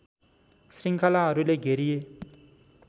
श्रृङ्खलाहरूले घेरिए